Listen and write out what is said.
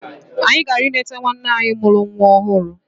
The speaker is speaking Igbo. Anyị na-aga ịleta nwanne nne anyị mụrụ nwa ọhụrụ.